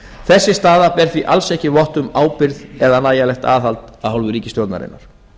þessi staða ber því alls ekki vott um ábyrgð eða nægjanlegt aðhald af hálfu ríkisstjórnarinnar